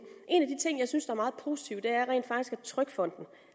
en ting jeg synes er meget positivt er rent faktisk at trygfonden